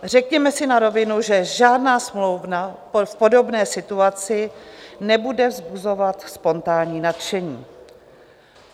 Řekněme si na rovinu, že žádná smlouva v podobné situaci nebude vzbuzovat spontánní nadšení.